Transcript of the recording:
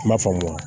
I m'a faamu wa